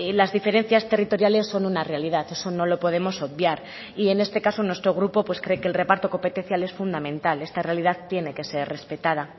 las diferencias territoriales son una realidad eso no lo podemos obviar y en este caso nuestro grupo pues cree que el reparto competencial es fundamental esta realidad tiene que ser respetada